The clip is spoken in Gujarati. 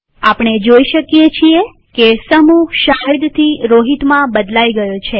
આપણે જોઈ શકીએ છીએ કે સમૂહ શાહિદ થી રોહિતમાં બદલાઈ ગયો છે